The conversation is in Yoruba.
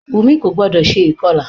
Wùmí kò gbodò se ìkọlà